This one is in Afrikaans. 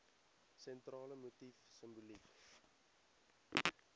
sentrale motief simboliek